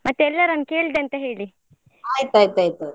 ಮತ್ತೇ ಎಲ್ಲರನ್ನು ಕೇಳಿದೆ ಅಂತ ಹೇಳಿ.